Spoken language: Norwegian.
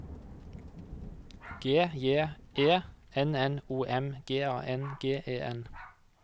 G J E N N O M G A N G E N